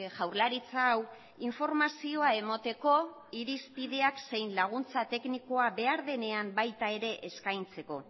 jaurlaritza hau informazioa emateko irizpidea zein laguntza teknikoa behar denean baita ere eskaintzeko